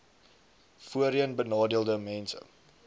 voorheen benadeelde mense